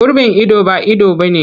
Gurbin ido ba ido ba ne.